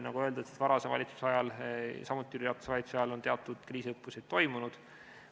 Nagu öeldud, varasema valitsuse ajal, samuti Jüri Ratase valitsuse ajal teatud kriisiõppused toimusid.